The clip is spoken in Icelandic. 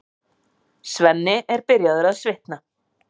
Svenni er byrjaður að svitna.